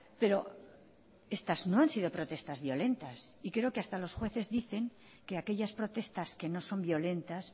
pero estas no han sido protestas violentas y creo que hasta los jueces dicen que aquellas protestas que no son violentas